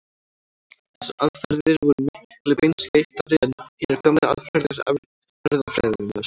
Þessar aðferðir voru miklu beinskeyttari en hinar gömlu aðferðir erfðafræðinnar.